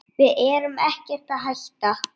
Við erum ekkert að hætta.